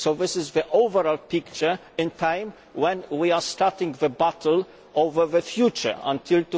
This is the overall picture at a time when we are starting the battle over the future until